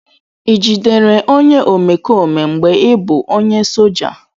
Ị jidere onye omekome mgbe ị bụ onye soja?